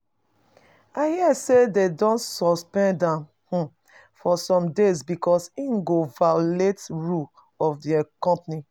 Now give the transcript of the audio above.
I hear say they don suspend am um for some days because he go violate rule of the company